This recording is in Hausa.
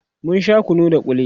mun Sha kunu da kulli